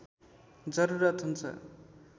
जरुरत हुन्छ